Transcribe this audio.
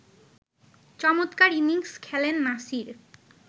চমৎকার ইনিংস খেলেন নাসির